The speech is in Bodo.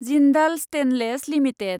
Jindal stainless limited